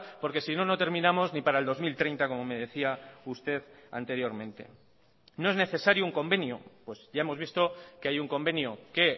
porque sino no terminamos ni para el dos mil treinta como me decía usted anteriormente no es necesario un convenio pues ya hemos visto que hay un convenio que